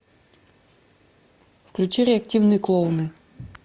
включи реактивные клоуны